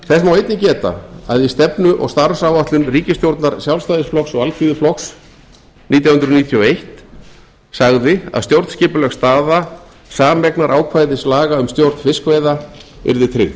þess má einnig geta að í stefnu og starfsáætlun ríkisstjórnar sjálfstæðisflokks og alþýðuflokks nítján hundruð níutíu og einn sagði að stjórnskipuleg staða sameignarákvæðislaga um stjórn fiskveiða yrði tryggð